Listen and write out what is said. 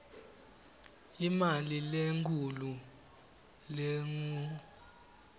imali lenkhulu lengur